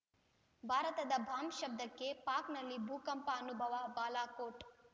ಭಾರತದ ಬಾಂಬ್‌ ಶಬ್ದಕ್ಕೆ ಪಾಕಲ್ಲಿ ಭೂಕಂಪ ಅನುಭವ ಬಾಲಾಕೋಟ್‌